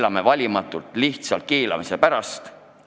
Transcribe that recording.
Keelame valimatult lihtsalt keelamise pärast!